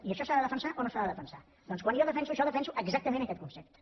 i això s’ha de defensar o no s’ha de defensar doncs quan jo defenso això defenso exactament aquest concepte